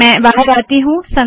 मैं बाहर आती हूँ